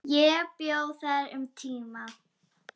Ég bjó þar um tíma.